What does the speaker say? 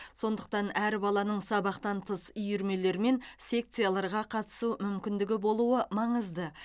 сондықтан әр баланың сабақтан тыс үйірмелер мен секцияларға қатысу мүмкіндігі болуы маңызды